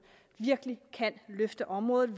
virkelig kan løfte området